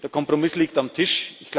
tun? Der Kompromiss liegt auf dem Tisch.